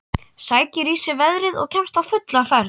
Sækir í sig veðrið og kemst á fulla ferð.